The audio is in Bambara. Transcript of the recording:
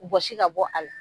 Bɔsi ka bɔ a la.